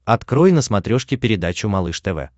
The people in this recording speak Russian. открой на смотрешке передачу малыш тв